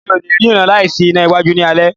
Mi o lẹ̀ rín láì sí iná iwájú ní alé.